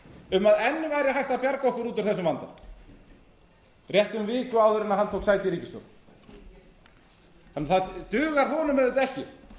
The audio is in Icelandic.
um að enn væri gat að bjarga okkur út úr þessum vanda rétt um viku áður en hann tók sæti í ríkisstjórn það dugar honum auðvitað ekki